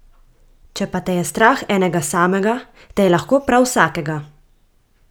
Če pa te je strah enega samega, te je lahko prav vsakega.